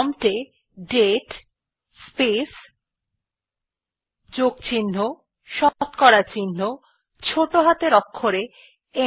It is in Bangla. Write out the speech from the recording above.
প্রম্পট এ দাতে স্পেস প্লাস শতকরা চিহ্ন ছোটো হাতের অক্ষরে